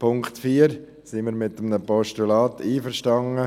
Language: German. Beim Punkt 4 sind wir mit einem Postulat einverstanden.